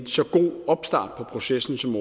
så god en opstart på processen som